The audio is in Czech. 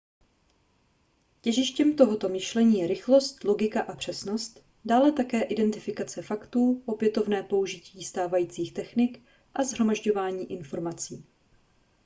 těžištěm tohoto myšlení je rychlost logika a přesnost dále také identifikace faktů opětovné použití stávajících technik a shromažďování informací